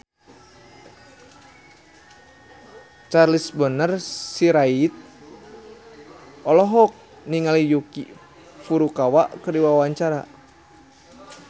Charles Bonar Sirait olohok ningali Yuki Furukawa keur diwawancara